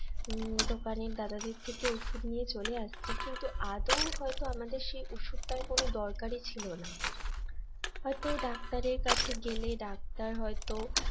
উম দোকানে দাদাদের থেকে ওষুধ নিয়ে চলে আসছি কিন্তু আদৌ হয়তো আমাদের সে ওষুধ তার কোন দরকারই ছিল না হয়তো ডাক্তারের কাছে গেলে ডাক্তার হয়তো